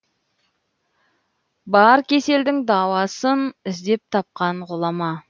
бар кеселдің дауасын іздеп тапқан ғұлама